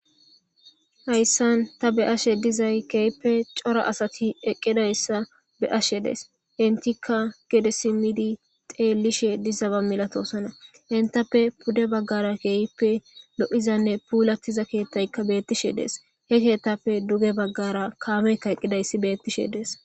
Hayssan ta be'ashe dizay keeyppe cora asati eqqidayssa be'ashe dees intikka gede simidi xeellishe dizaba milatoosana intappe pudde baggara keehippe lo'izanne puulattiza keettaykka bettishe dees he keettapfe duge baggara kaameykka eqqidayssi bettishe dees.